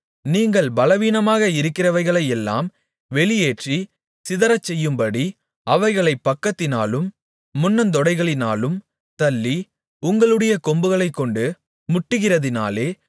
நீங்கள் பலவீனமாக இருக்கிறவைகளையெல்லாம் வெளியேற்றி சிதறச்செய்யும்படி அவைகளைப் பக்கத்தினாலும் முன்னந்தொடைகளினாலும் தள்ளி உங்களுடைய கொம்புகளைக்கொண்டு முட்டுகிறதினாலே